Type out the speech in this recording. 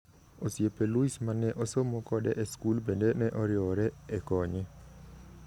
Osiepe Luis ma ne osomo kode e skul bende ne oriwore e konye.